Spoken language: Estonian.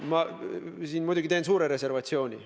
Ma siin muidugi teen suure reservatsiooni.